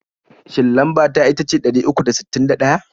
Shin lamba ta itace ɗari uku da sittin da ɗaya?